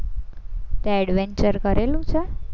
તે adventure કરેલું છે?